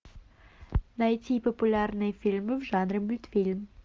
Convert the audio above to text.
найти популярные фильмы в жанре мультфильм